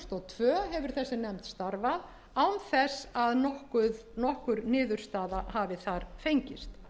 tvö þúsund og tvö hefur þessi nefnd starfað án þess að nokkur niðurstaða hafi þar fengist